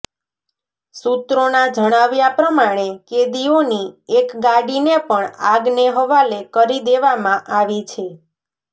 સૂત્રોનાં જણાવ્યા પ્રમાણે કેદીઓની એક ગાડીને પણ આગને હવાલે કરી દેવામાં આવી છે